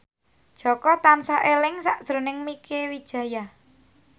Jaka tansah eling sakjroning Mieke Wijaya